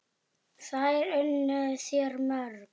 Þær unnu þér mjög.